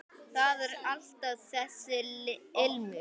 Það er alltaf þessi ilmur.